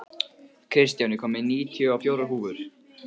Kristján, ég kom með níutíu og fjórar húfur!